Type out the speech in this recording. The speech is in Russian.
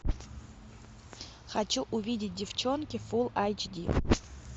хочу увидеть девчонки фулл айч ди